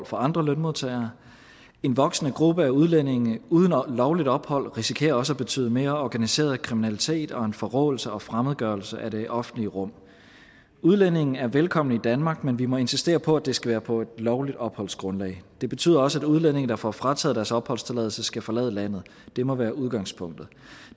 for andre lønmodtagere en voksende gruppe af udlændinge uden lovligt ophold risikerer også at betyde mere organiseret kriminalitet og en forråelse og fremmedgørelse af det offentlige rum udlændinge er velkomne i danmark men vi må insistere på at det skal være på et lovligt opholdsgrundlag det betyder også at udlændinge der får frataget deres opholdstilladelse skal forlade landet det må være udgangspunktet